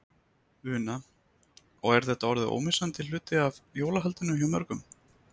Una: Og er þetta orðið ómissandi hluti af jólahaldinu hjá mörgum?